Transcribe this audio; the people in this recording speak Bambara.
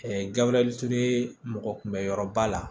gabure ture mɔgɔ kunbɛyɔrɔba la